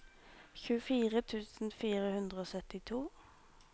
tjuefire tusen fire hundre og syttito